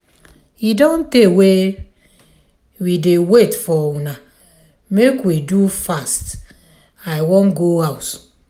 e don tey wey we dey wait for una make we do fast i wan go house.